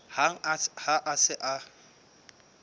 hang ha a se a